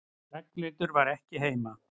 Ragnhildur var ekki heima.